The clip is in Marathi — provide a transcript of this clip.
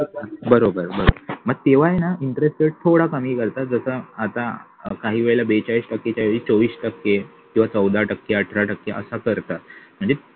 बरोबर बरोबर मग तेव्हा न interest rate थोडा कमी करता त्याचा आता काही वेळेला बेचाळीस टक्के चोवीस टक्के किंवा चौदा टक्के अठरा टक्के असा करतात म्हणजे